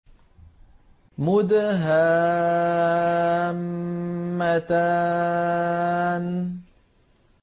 مُدْهَامَّتَانِ